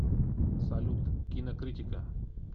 салют кинокритика